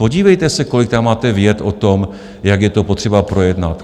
Podívejte se, kolik tam máte vět o tom, jak je to potřeba projednat.